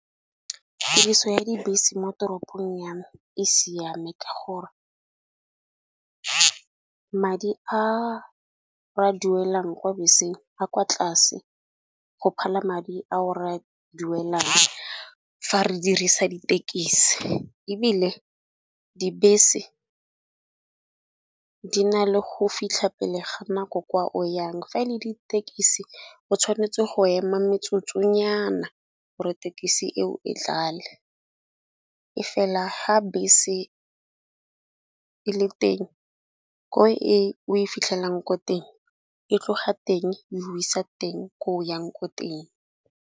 Tiriso ya dibese mo toropong ya me e siame ka gore madi a ra duelang kwa beseng a kwa tlase. Go phala madi a o ra duelang fa re dirisa ditekisi, ebile dibese di na le go fitlha pele ga nako kwa o yang. Fa e le ditekisi o tshwanetse go ema metsotsonyana tekisi eo e tlale e fela ga bese e le teng ko e o e fitlhelang ko teng e tlo ga teng e go isa teng ko o yang ko teng.